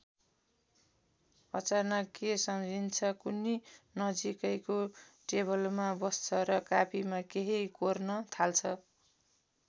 अचानक के सम्झिन्छ कुन्नि नजिकैको टेबलमा बस्छ र कापीमा केही कोर्न थाल्छ।